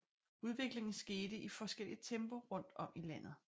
Udviklingen skete i forskelligt tempo rundt om i landet